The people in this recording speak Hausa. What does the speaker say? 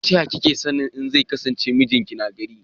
Ta yaya kika sani in zai kasance miji na gari